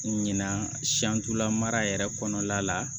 Ɲinan la mara yɛrɛ kɔnɔna la